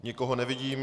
Nikoho nevidím.